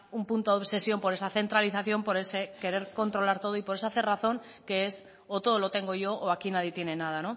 un punto de obsesión por esa centralización por ese querer controlar todo y por esa cerrazón que es o todo lo tengo yo o aquí nadie tiene nada